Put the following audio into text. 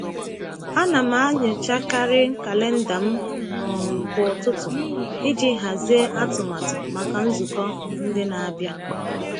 A na m enyochakarị kalenda m um kwa ụtụtụ iji hazie atụmatụ maka nzukọ ndị na-abịa.